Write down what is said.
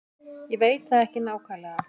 Ég veit það ekki nákvæmlega.